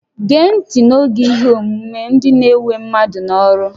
Gee ntị n'oge ihe ọmụmụ, ndị na-ewe mmadụ n'ọrụ!